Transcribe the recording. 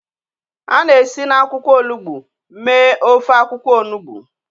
A na-esi na akwụkwọ olugbo mee ofe akwụkwọ onugbo.